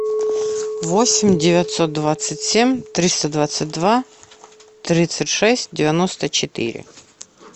восемь девятьсот двадцать семь триста двадцать два тридцать шесть девяносто четыре